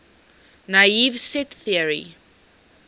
naive set theory